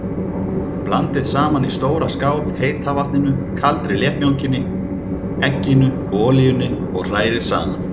Blandið saman í stóra skál heita vatninu, kaldri léttmjólkinni, egginu og olíunni og hrærið saman.